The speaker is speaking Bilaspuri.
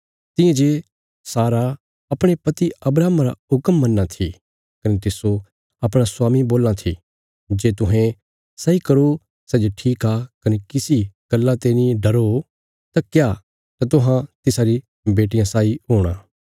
तियां जे सारा अपणे पति अब्राहमा रा हुक्म मन्नां थी कने तिस्सो अपणा स्वामी बोलां थी जे तुहें सैई करो सै जे ठीक आ कने किसी गल्ला ते नीं डरो तां तुहां तिसारी बेटियां साई हूणा